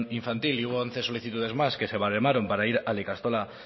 infantil y hubo once solicitudes más que se baremaron para ir a la ikastola